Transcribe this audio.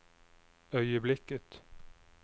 øyeblikket